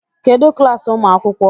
Kedụ klaasị ụmụ akwụkwọ?